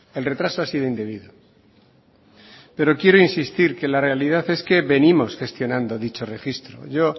el retraso ha sido indebido pero quiero insistir que la realidad es que venimos gestionando dicho registro yo